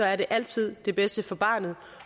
er det altid det bedste for barnet